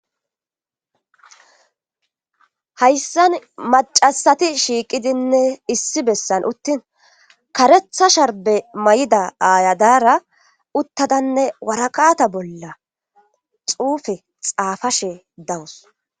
hayssan macasati shiiqidinne issi bessan uttin karetha sharbe may7ida aayadara uttadanne warakata bolla xuufe xaafashe dawus